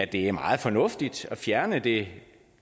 det er meget fornuftigt at fjerne det